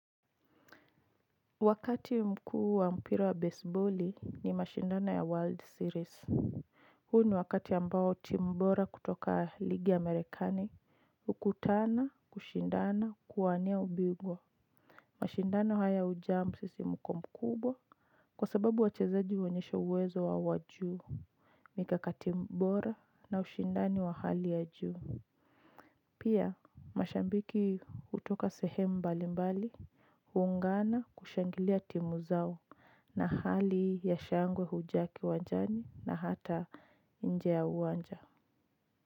Wakati mkuu wa mpira wa baseball ni mashindana ya world series. Huu ni wakati ambao timu bora kutoka ligi amerikani ukutana kushindana kuwania ubingwa. Mashindano haya huja msisimko mkumbwa kwa sababu wachezaji huonyesha uwezo wa wajuu mikakati bora na ushindani wa hali ya juu. Pia mashambiki hutoka sehemu mbali mbali, hungana kushangilia timu zao na hali ya shangwe hujaa kiwanjani na hata nje ya uwanja.